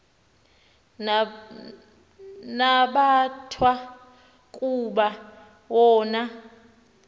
nabathwa kuba wona